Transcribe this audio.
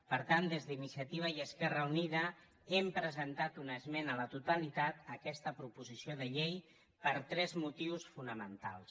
per tant des d’iniciativa i esquerra unida hem presentat una esmena a la totalitat a aquesta proposició de llei per tres motius fonamentals